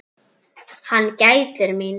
Hann gætir mín.